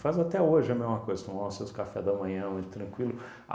até hoje a mesma coisa, toma os seu café da manhã, muito tranquilo.